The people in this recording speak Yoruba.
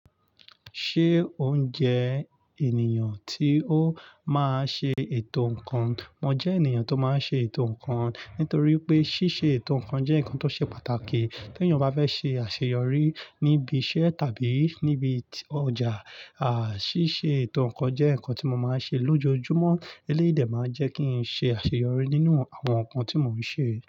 Ṣé o ń jẹ ènìyàn tí o máa ń ṣe ètò nnkan? Mo jẹ ènìyàn tó máa ń ṣe ètò ǹkan, nítorí pé ṣíṣe ètò ǹkan jẹ́ ǹkan tó ṣe pàtàkì. Tí ènìyàn bá fẹ́ ṣe àṣeyọrí níbi iṣẹ́ tàbí níbi ọjà, à ṣíṣe ètò ǹnkan jẹ́ ǹnkan tí mo máa ń ṣe lójoojúmọ́. Elédè máa ń jẹ́ kí n ṣe àṣeyọrí nínú àwọn nǹkan tí mò ń ṣe.